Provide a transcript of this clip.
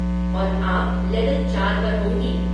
और आप लेवल चार पर होंगी।